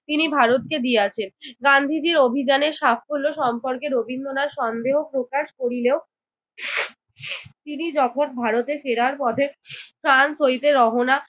তিনি ভারতকে দিয়াছেন। গান্ধীজির অভিযানের সাফল্য সম্পর্কে রবীন্দ্রনাথ সন্দেহ প্রকাশ করিলেও তিনি যখন ভারতে ফেরার পথে ফ্রান্স হইতে রওনা